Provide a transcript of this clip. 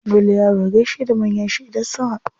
Dole yaro ya gaishe da manyan shi idan sun haɗu.